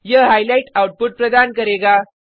यह highlight output प्रदान करेगा